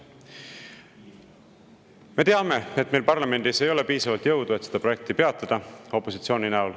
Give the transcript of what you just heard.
Me teame, et meil parlamendis ei ole opositsioonina piisavalt jõudu, et seda projekti peatada.